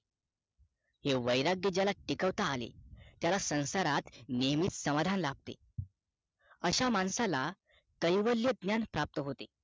हे वैराग्य ज्याला टिकवता आले त्याला संसारात नेहमीच समाधान लाभते अशा माणसाला कैवल्य ज्ञान प्राप्त होते